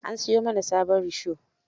An siyo mana sabon risho.